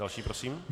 Další prosím.